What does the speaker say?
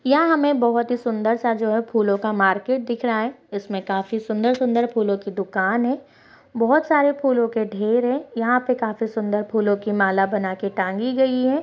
यहाँ पर हमें बहुत ही सुंदर सा जो है फूलो का मार्केट दिख रहा है यहाँ पर बहुत ही सुंदर-सुंदर फूलों की दुकान है बहुत सारे फूलो के ढेर है यहाँ पर बहुत ही सुंदर फूलों की माला बनाकर टांगी गई है।